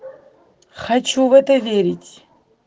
хочу в это верить